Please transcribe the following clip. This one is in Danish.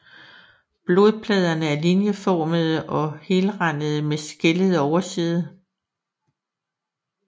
Bladpladerne er linjeformede og helrandede med skællet overside